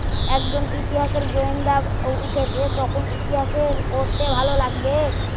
একজন ইতিহাসের গোয়েন্দা উঠেছে তখন ইতিহাসের পড়তে ভালো লাগবে